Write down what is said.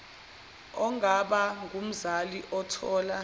ongaba ngumzali othola